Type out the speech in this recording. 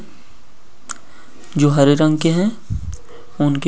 जो हरे रंग के हैं उनके पीछे एक घर है बड़ी सी |